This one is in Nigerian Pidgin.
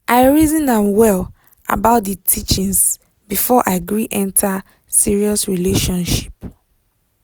i reason am well about d teachings before i gree enter serious relationship.